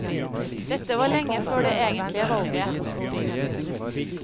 Dette var lenge før det egentlige valget. punktum